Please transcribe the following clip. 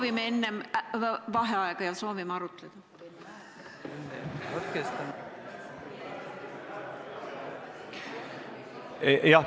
Ei, me soovime enne vaheaega ja soovime arutleda.